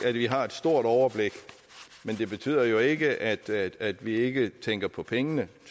at vi har et stort overblik men det betyder jo ikke at at vi ikke tænker på pengene